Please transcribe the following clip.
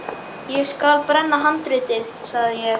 Ég skal brenna handritið, sagði ég.